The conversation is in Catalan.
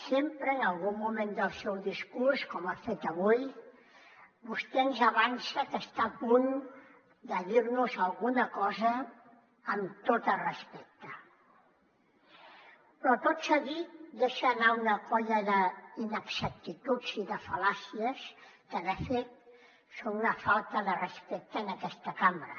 sempre en algun moment del seu discurs com ha fet avui vostè ens avança que està a punt de dir nos alguna cosa amb tot el respecte però tot seguit deixar anar una colla d’inexactituds i de fal·làcies que de fet són una falta de respecte en aquesta cambra